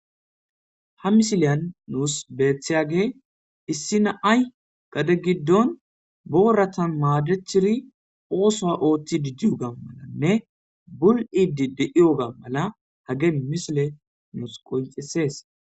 ha misiliyan nuus beetiyage issi na'ay gade giddon booratan maadechiri oosoa ooththi didyuga malanne bul7idi de7iyoga mala hage misile nuus qonxisees